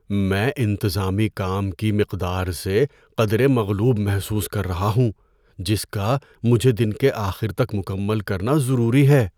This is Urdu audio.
میں انتظامی کام کی مقدار سے قدرے مغلوب محسوس کر رہا ہوں جس کا مجھے دن کے آخر تک مکمل کرنا ضروری ہے۔